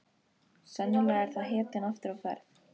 Sennilega er það hetjan aftur á ferð.